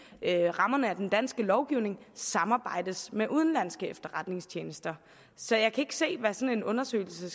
rammerne af den danske lovgivning samarbejdes med udenlandske efterretningstjenester så jeg kan ikke se hvad sådan en undersøgelse